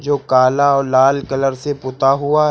जो काला और लाल कलर से पुता हुआ है।